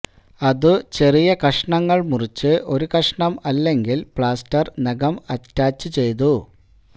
അതു ചെറിയ കഷണങ്ങൾ മുറിച്ചു ഒരു കഷണം അല്ലെങ്കിൽ പ്ലാസ്റ്റർ നഖം അറ്റാച്ചുചെയ്തു